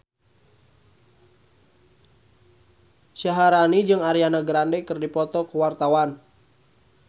Syaharani jeung Ariana Grande keur dipoto ku wartawan